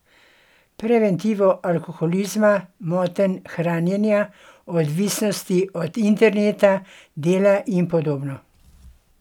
Preventivo alkoholizma, motenj hranjenja, odvisnosti od interneta, dela in podobno.